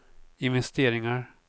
investeringar